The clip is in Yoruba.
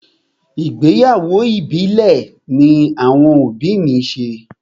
Ìgbéyàwó ìbílẹ̀ ní àwọn òbí mi ṣe.